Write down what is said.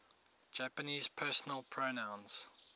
japanese personal pronouns